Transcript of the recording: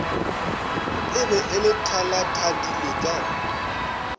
e be e thalathadilwe ka